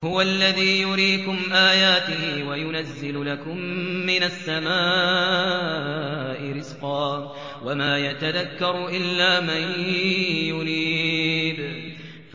هُوَ الَّذِي يُرِيكُمْ آيَاتِهِ وَيُنَزِّلُ لَكُم مِّنَ السَّمَاءِ رِزْقًا ۚ وَمَا يَتَذَكَّرُ إِلَّا مَن يُنِيبُ